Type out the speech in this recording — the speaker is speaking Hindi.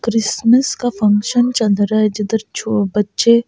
क्रिसमस का फंक्शन चल रहा है जिधर छो बच्चे--